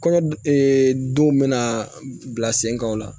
Kɔɲɔ denw bɛna bila sen kan o la